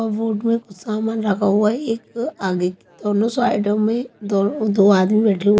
कबोड में कुछ सामान रखा हुआ है एक आगे दोनों साइडों में दो आदमी बैठे हुए --